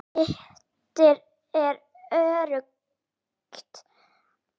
Eitt er öruggt.